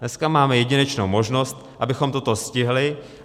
Dneska máme jedinečnou možnost, abychom toto stihli.